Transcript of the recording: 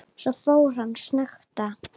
Svo fór hann að snökta.